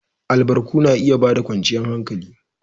Albarku na iya ba da kwanciyar hankali.